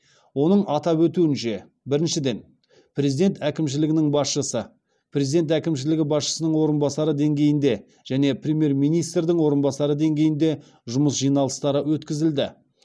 оның атап өтуінше біріншіден президент әкімшілігінің басшысы президент әкімшілігі басшысының орынбасары деңгейінде және премьер министрдің орынбасары деңгейінде жұмыс жиналыстары өткізілді